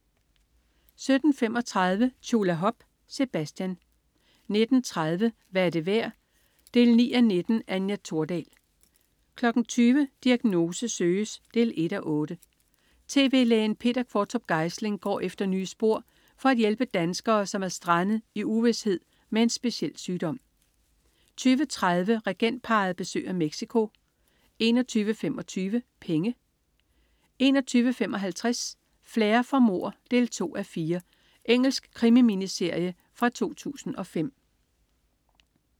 17.55 Tjulahop, Sebastian 19.30 Hvad er det værd 9:19. Anja Thordal 20.00 Diagnose søges 1:8. Tv-lægen Peter Qvortrup Geisling går efter nye spor for at hjælpe danskere, som er strandet i uvished med en speciel sygdom 20.30 Regentparret besøger Mexico 21.25 Penge 21.55 Flair for mord 2:4. Engelsk krimi-miniserie fra 2005